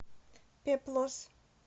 пеплос